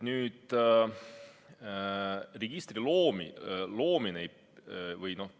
Nüüd, registri loomine.